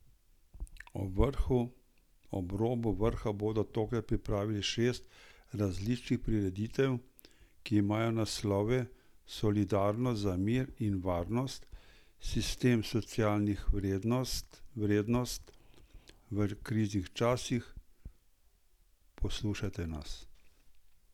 Ob robu vrha bodo tokrat pripravili šest različnih prireditev, ki imajo naslove Solidarnost za mir in varnost, Sistem socialnih vrednost v kriznih časih, Poslušajte nas!